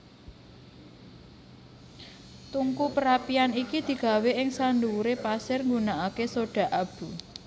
Tungku perapian iki digawé ing sandhuwuré pasir nggunakaké soda abu